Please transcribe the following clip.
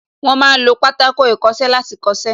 Wọ́n ma ń lo Pátákó ìkọṣẹ́ láti kọ́ṣẹ́